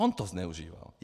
On to zneužíval.